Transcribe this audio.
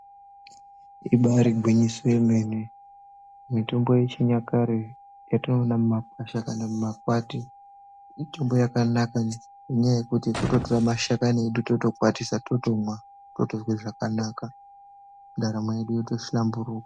Ibarigwinyiso yemene mitombo yechinyakare yatowana mumakwahla kana mumakwati mitombo yakanaka ngenyaya yekuti kutotora mashakani edu totokwatisa totomwa totozwe zvakanaka ndaramo yedu yotohlamburuka.